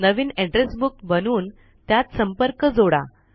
नवीन address book बनवून त्यात संपर्क जोडा